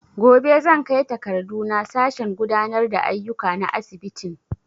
Gobe zan kai takardu na sashen gudanar da aiyuka na asibitin